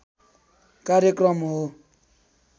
कार्यक्रम हो